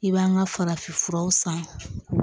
I b'an ka farafin furaw san